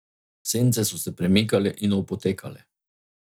Sence so se premikale in opotekale.